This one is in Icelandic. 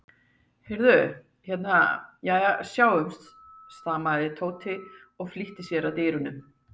Heyrðu. hérna. jæja, sjáumst stamaði Tóti og flýtti sér að dyrunum.